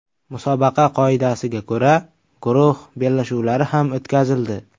Musobaqa qoidasiga ko‘ra, guruh bellashuvlari ham o‘tkazildi.